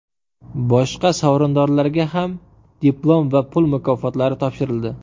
Boshqa sovrindorlarga ham diplom va pul mukofotlari topshirildi.